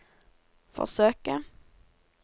forsøke